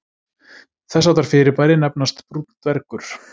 Þess háttar fyrirbæri nefnast brúnn dvergur.